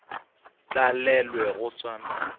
tlalelwe go swana le wena